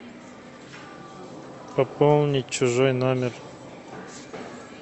пополнить чужой номер